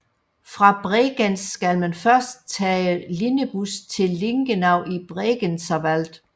Fra Bregenz skal man først tage linjebus til Lingenau i Bregenzerwald